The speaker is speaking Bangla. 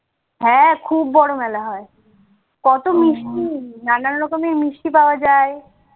হ্যাঁ খুব বড় মেলা হয় কত মিষ্টি নানান রকমের মিষ্টি পাওয়া যায়।